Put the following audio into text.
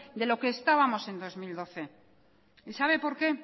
de lo que estábamos en dos mil doce y sabe por qué